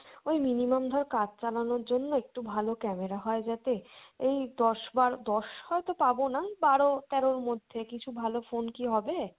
ওই minimum ধর কাজ চালানোর জন্য একটু ভালো camera হয় যাতে, এই দশ বারো দশ হয়তো পাবোনা ওই বারো তেরোর মধ্যে কিছু ভালো phone কি হবে?